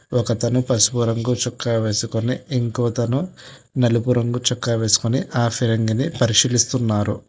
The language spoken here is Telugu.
ఒక అతను పసుపూ రంగు చొక్కా వేసుకొని ఇంకోతను నలుపు రంగు చొక్కా వేసుకుని ఆశీర్వది పరిశీలిస్తున్నారు.